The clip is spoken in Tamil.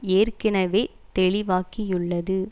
ஏற்கனவே தெளிவாக்கியுள்ளது